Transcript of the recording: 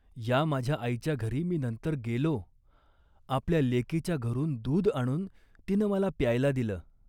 " या माझ्या आईच्या घरी मी नंतर गेलो. आपल्या लेकीच्या घरून दूध आणून तिनं मला प्यायला दिलं